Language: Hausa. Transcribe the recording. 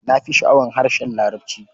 Na fi sha'awar harshen Larabci.